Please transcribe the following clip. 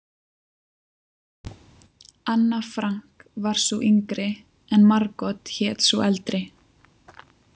Anna Frank var sú yngri, en Margot hét sú eldri.